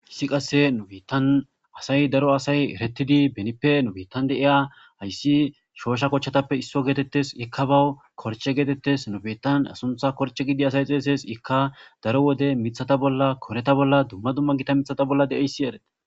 haysi qasse nubiittan asay daro asay eretidi benippe nubittan de iya hayssi shoosha kochchatappe isso geetettes ikka bawu korche geetettes nubitan asuntha korche gidi asay xeeses ikka daro wode mithata bolla koreta bolla dumma dumma gita mithata bolla deeyssi erete